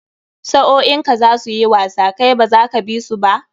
Sa'o'in ka za su yi wasa kai baza ka bi su ba?